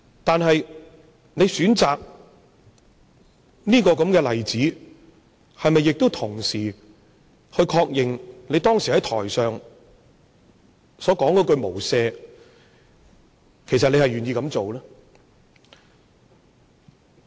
但是，他選擇這個例子，是否同時確認，他其實願意做出當時在台上所說的"無赦"？